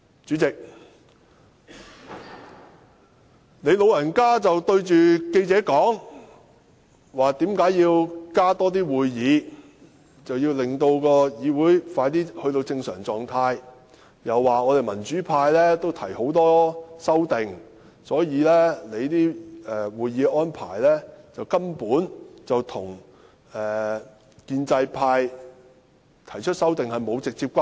主席，你對記者說，加開會議就是要讓議會盡快回復正常狀態，又說民主派也提出了很多修訂，而既然大家均有提出修訂，所以會議的安排與建制派提出修訂沒有直接關係。